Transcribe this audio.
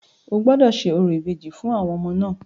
O gbọ́dọ̀ ṣe orò ìbejì fún àwọn ọmọ náà!